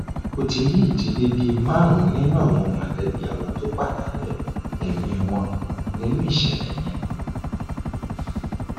mo ti rí ìdílé bíi márùnún nínú àwọn mọlẹbí àwọn tó pàdánù ẹmí wọn nínú ìṣẹlẹ yẹn